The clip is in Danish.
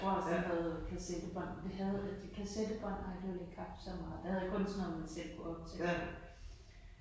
Jeg tror også han havde kassettebånd. Det havde det kassettebånd det har jeg alligevel ikke haft så meget. Jeg havde kun sådan noget man selv kunne optage